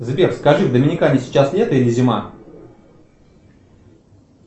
сбер скажи в доминикане сейчас лето или зима